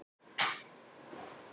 Vítaspyrna Messi?